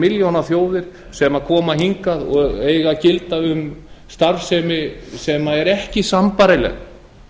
milljónaþjóðir sem koma hingað og eiga að gilda um starfsemi sem er ekki sambærileg